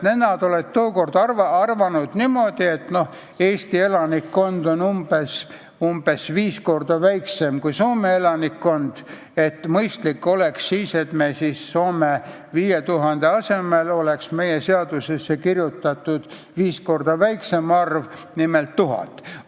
Tookord olevat arvatud niimoodi, et kuna Eesti elanikkond on umbes viis korda väiksem kui Soome elanikkond, siis oleks mõistlik, kui 5000 asemel oleks meie seadusesse kirjutatud viis korda väiksem arv, nimelt 1000.